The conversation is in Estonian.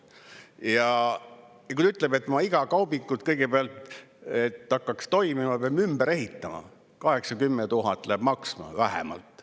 Ja ta ütleb, et ta peab iga kaubiku kõigepealt, et asi hakkaks toimima, ümber ehitama, 8000 – 10 000 läheb maksma vähemalt.